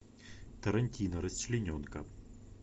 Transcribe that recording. тарантино расчлененка